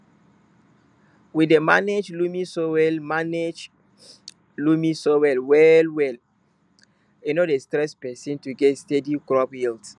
we dey manage loamy soil manage loamy soil well well e no dey stress person to get steady crop yields